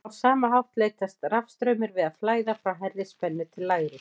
á sama hátt leitast rafstraumur við að flæða frá hærri spennu til lægri